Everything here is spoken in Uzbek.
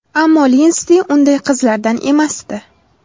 Ammo Linsdi unday qizlardan emasdi.